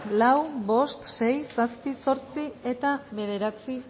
lau bost sei zazpi zortzi eta bederatzi